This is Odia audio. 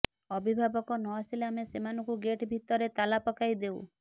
ଅଭିଭାବକ ନ ଆସିଲେ ଆମେ ସେମାନଙ୍କୁ ଗେଟ ଭିତରେ ତାଲା ପକାଇ ଦେଉ